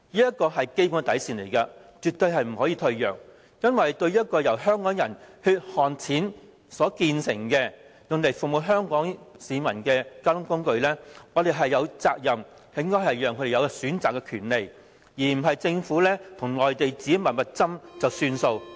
這是基本底線，絕不能退讓，因為對於一個由香港人的血汗錢所建成，用作服務香港市民的交通工具，我們有責任讓香港人有選擇的權利，而不是政府與內地自行"密密斟"便算數。